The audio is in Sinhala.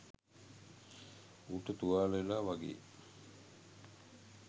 ඌට තුවාල වෙලා වගේ